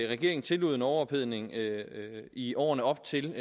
regeringen tillod en overophedning i årene op til